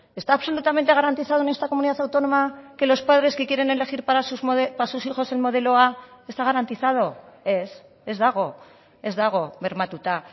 está absolutamente garantizado en esta comunidad autónoma que los padres que quieren elegir para sus hijos el modelo a está garantizado ez ez dago ez dago bermatuta